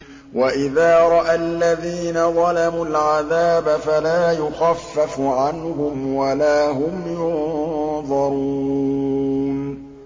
وَإِذَا رَأَى الَّذِينَ ظَلَمُوا الْعَذَابَ فَلَا يُخَفَّفُ عَنْهُمْ وَلَا هُمْ يُنظَرُونَ